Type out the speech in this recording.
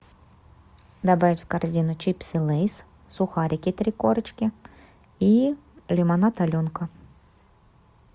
добавь в корзину чипсы лейс сухарики три корочки и лимонад аленка